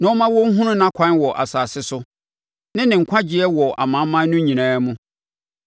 na ɔmma wɔnhunu nʼakwan wɔ asase so, ne ne nkwagyeɛ wɔ amanaman no nyinaa mu.